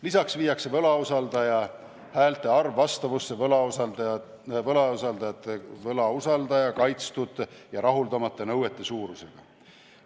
Lisaks viiakse võlausaldaja häälte arv vastavusse võlausaldaja kaitstud ja rahuldamata nõuete suurusega.